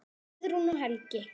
Guðrún og Helgi.